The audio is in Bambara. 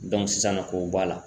sisan nɔ k'o b'ɔ a la.